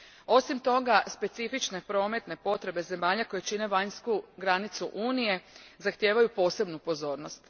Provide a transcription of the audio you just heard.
Osim toga, specifične prometne potrebe zemalja koje čine vanjsku granicu Unije zahtijevaju posebnu pozornost.